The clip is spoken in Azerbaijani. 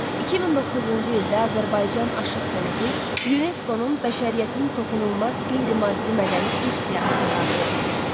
2009-cu ildə Azərbaycan aşıq sənəti UNESCO-nun bəşəriyyətin toxunulmaz qeyri-maddi mədəni irs siyahısına daxil edilmişdir.